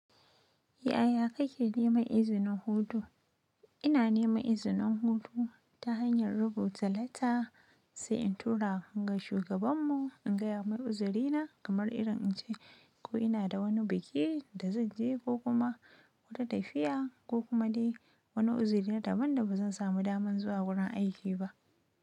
Yiaya kike neman izinin hutu? Ina neman izinin hutu ta hanyan rubuta letter sai in tura ga shugaban mu in gaya mai uzurina kamar irin in ce ko ina da wani biki da zan je ko kuma wata tafiya ko kuma dai wani uzuri na daban da ba zan samu daman zuwa wurin aiki ba.